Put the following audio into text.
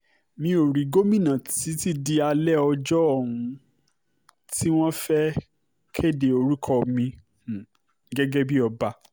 mi ò rí gómìnà títí di alẹ́ ọjọ́ um tí wọ́n fẹ́ẹ́ kéde orúkọ mi um gẹ́gẹ́ bíi ọba